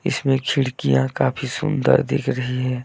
इसमें खिड़कियां काफी सुंदर दिख रही है।